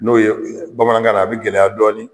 N'o ye bamanankan na a bi gɛlɛya dɔɔni.